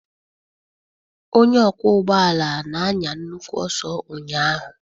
Onye ọkwọ ụgbọala na-anya nnukwu ọsọ ụnyaahụ.